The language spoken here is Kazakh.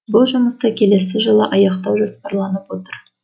бұл жұмысты келесі жылы аяқтау жоспарланып отыр